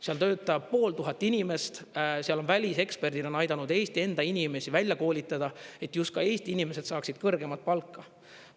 Seal töötab pooltuhat inimest, seal on väliseksperdid on aidanud Eesti enda inimesi välja koolitada, et just ka Eesti inimesed saaksid kõrgemat palka.